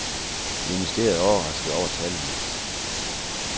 Ministeriet er overrasket over tallene.